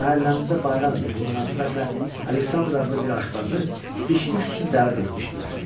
Məhəlləmizdə bayram idi, bu münasibətlə Aleksandr adlı bir aşbazı biş-düş üçün dəvət etmişdilər.